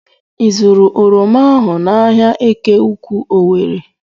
I zụụrụ oroma ahụ n'ahia Eke Ukwu Owere?